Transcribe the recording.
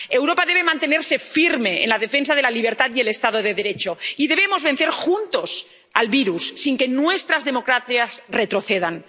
Europa debe mantenerse firme en la defensa de la libertad y el Estado de Derecho, y debemos vencer juntos al virus, sin que nuestras democracias retrocedan.